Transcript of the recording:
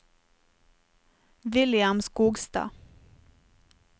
William Skogstad